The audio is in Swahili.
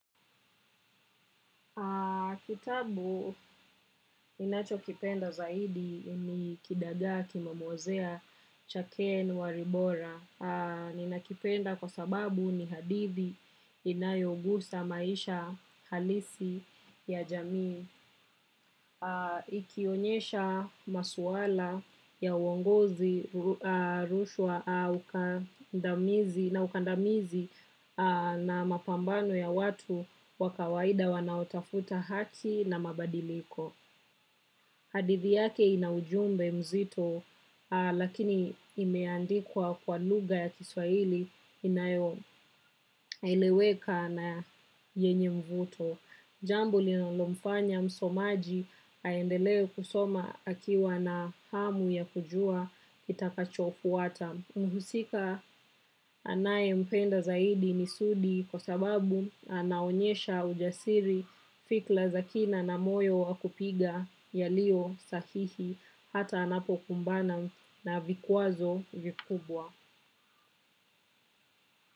Kitabu ninachokipenda zaidi ni kidagaa kimemwozea cha ken walibora. Ninakipenda kwa sababu ni hadithi inayogusa maisha halisi ya jamii. Ikionyesha masuala ya uongozi rushwa na ukandamizi na mapambano ya watu wa kawaida wanaotafuta haki na mabadiliko. Hadithi yake ina ujumbe mzito lakini imeandikwa kwa lugha ya kiswahili inayoeleweka na yenye mvuto. Jambo linalomfanya msomaji aendelee kusoma akiwa na hamu ya kujua kitakachofuata. Mhusika anayempenda zaidi ni sudi kwa sababu anaonyesha ujasiri fikra za kina na moyo wa kupiga yaliyo sahihi hata anapokumbana na vikwazo vikubwa.